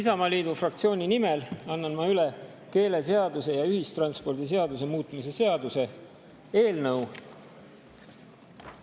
Isamaaliidu fraktsiooni nimel annan ma üle keeleseaduse ja ühistranspordiseaduse muutmise seaduse eelnõu.